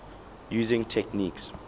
using techniques